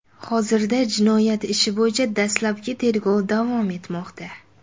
Hozirda jinoyat ishi bo‘yicha dastlabki tergov davom etmoqda.